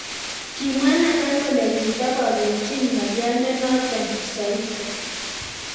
kimwa Nathan kole kitopopchin ngalyondo noto xoisin